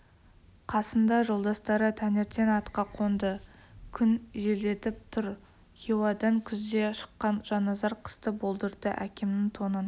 қасында жолдастары таңертең атқа қонды күн желдетіп тұр хиуадан күзде шыққан жанназар қысты болдырды әкемнің тонын